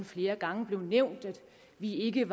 flere gange blev nævnt at vi ikke